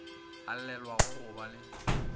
a llelago go ba le